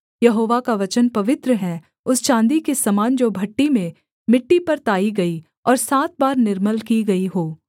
यहोवा का वचन पवित्र है उस चाँदी के समान जो भट्ठी में मिट्टी पर ताई गई और सात बार निर्मल की गई हो